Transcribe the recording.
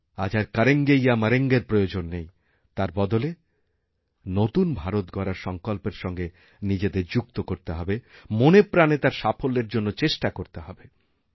আজ আর করেঙ্গে ইয়ে মরেঙ্গের প্রয়োজননেই তার বদলে নতুন ভারত গড়ার সঙ্কল্পের সঙ্গে নিজেদের যুক্ত করতে হবে মনেপ্রাণেতার সাফল্যের জন্য চেষ্টা করতে হবে